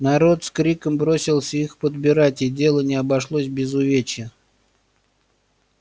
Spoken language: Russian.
народ с криком бросился их подбирать и дело не обошлось без увечья